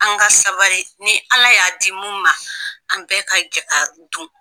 An ka sabali ni Ala y'a di mun ma, an bɛ ka jɛ k'a dun.